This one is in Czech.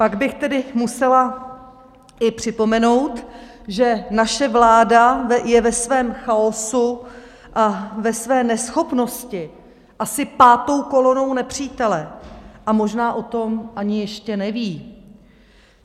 Pak bych tedy musela i připomenout, že naše vláda je ve svém chaosu a ve své neschopnosti asi pátou kolonou nepřítele, a možná o tom ani ještě neví.